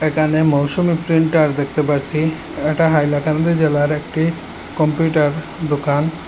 এখানে মৌসুমী প্রিন্টার দেখতে পারছি এটা হাইলাকান্দি জেলার একটি কম্পিউটার দোকান।